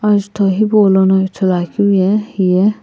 ajutho hipaulono ithuluakeu ye hiye.